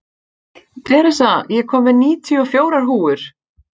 Theresa, ég kom með níutíu og fjórar húfur!